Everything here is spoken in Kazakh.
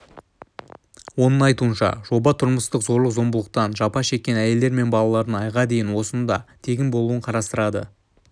оның айтуынша жоба тұрмыстық зорлық-зомбылықтан жапа шеккен әйелдер мен баалардың айға дейін осында тегін болуын қарастырады